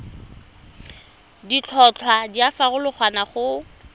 ditlhotlhwa di a farologana go